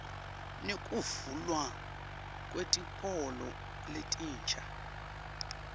nekuvulwa kwetikolo letinsha